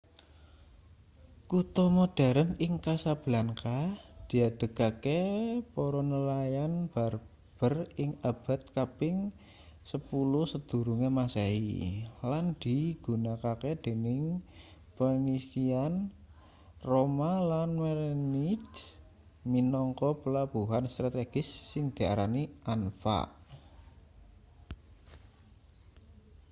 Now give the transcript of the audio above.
kutha modheren ing casablanca diadegake para nelayan berber ing abad kaping 10sm lan digunakake dening phoenician roma lan merenids minangka pelabuhan strategis sing diarani anfa